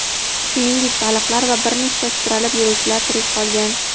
shuningdek baliqlar va bir nechta sudralib yuruvchilar tirik qolgan.